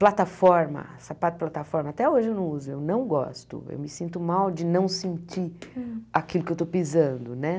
plataforma, sapato plataforma, até hoje eu não uso, eu não gosto, eu me sinto mal de não sentir aquilo que eu estou pisando, né?